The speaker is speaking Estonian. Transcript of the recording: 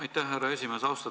Aitäh, härra esimees!